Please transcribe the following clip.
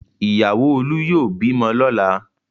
Ìyàwó Olú yóò bímọ lọ́la!